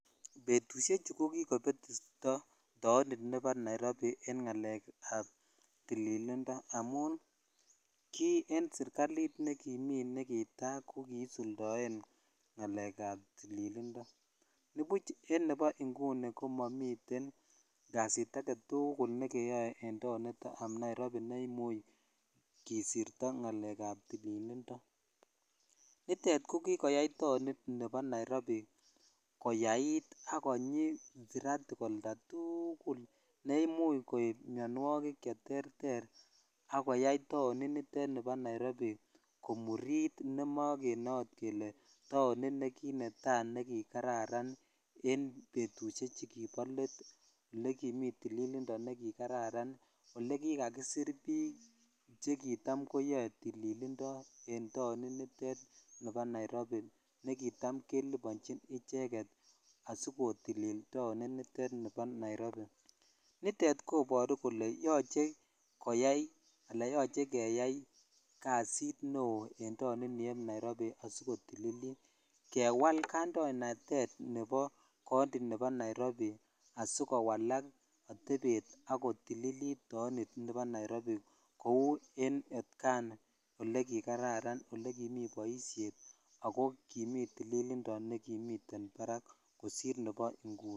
Betushek chu kikopetito taonit nebo Nairobi en ngalek ab tililindo ki en serikalit nekimi en netai ko kisuldone ngalek ab tililindo nubu en nibo inguni ko momiten kasit agetukul ne keyoe en taonit ab Nairobi ne imuch kisirto ngalek ab tililindo nitet kokiyai taonit nebo Nairobi koyait sk konyi siratik oltatugul ne imuch koloo miowokik cheterter ak koyai taoni nitet nibo Nairobi komurit ne mokene akot kele taonit ne kinetai ne kikararan en betushek chu kibo let ne kimi tililindo ne ki kararan ole kikakisir bik che kidam koyoe tililindo en tonit nitet nibo Nairobi ne kidam kelibochin icheget asikotilil taonit nitet nibo Nairobi nitet koboru kole kole yoche koyai kasit neo en taonit Nairobi asikotilil kewal koandoinatet konti nebo Nairobi asikowalak ak kotililit taonit nebo Nairobi kou en otkan tukul ne kikararan boishet nengini tililindo nebo barak kikaran kosir nebo inguni.